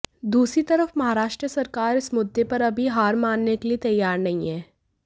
दूसरी तरफ महाराष्ट्र सरकार इस मुद्दे पर अभी हार मानने के लिए तैयार नहीं है